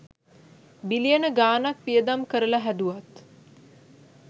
බිලියන ගානක් වියදම් කරලා හැදුවත්